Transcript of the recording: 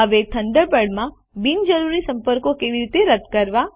હવે થન્ડરબર્ડ માં બિનજરૂરી સંપર્કો કેવી રીતે રદ કરવા